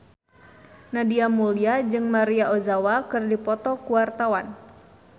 Nadia Mulya jeung Maria Ozawa keur dipoto ku wartawan